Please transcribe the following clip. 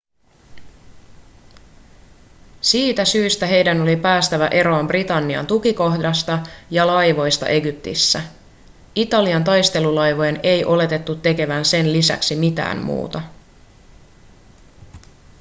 siitä syystä heidän oli päästävä eroon britannian tukikohdista ja laivoista egyptissä italian taistelulaivojen ei oletettu tekevän sen lisäksi mitään muuta